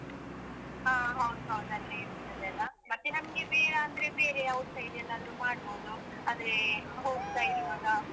ಹಾ ಹೌದು ಹೌದು ಅಲ್ಲೇ ಇರ್ತದಲಾ, ಮತ್ತೆ ನಮ್ಗೆ ಬೇಡಾಂದ್ರೆ ಬೇರೆ outside ಎಲ್ಲಾದ್ರೂ ಮಾಡ್ಬೋದು ಅಂದ್ರೆ ಹೋಗ್ತಾ ಇರುವಾಗ.